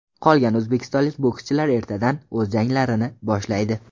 Qolgan o‘zbekistonlik bokschilar ertadan o‘z janglarini boshlaydi .